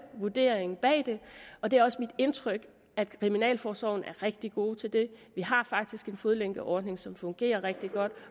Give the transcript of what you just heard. vurdering bag det og det er også mit indtryk at kriminalforsorgen er rigtig gode til det vi har faktisk en fodlænkeordning som fungerer rigtig godt